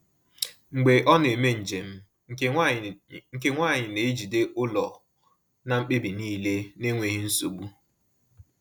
Mgbe ọ na-eme njem, nke nwanyị nke nwanyị na-ejide ụlọ na mkpebi niile n’enweghị nsogbu.